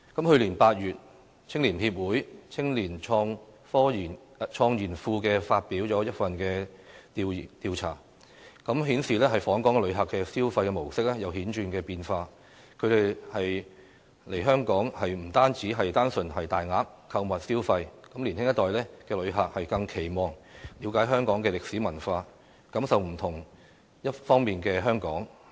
去年8月，香港青年協會青年創研庫發表了一份調查，顯示訪港旅客的消費模式有顯著變化，他們來香港，已不再是單純大額購物消費，年輕一代的旅客更期望了解香港歷史文化，感受不同面貌的香港。